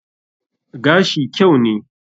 Gashi kyau ne.